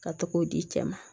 Ka togo di cɛ ma